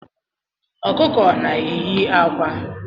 Ọkụkọ na-eyi akwa